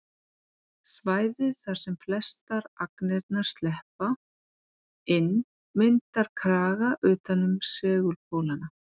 Svæðið þar sem flestar agnirnar sleppa inn myndar kraga utan um segulpólana.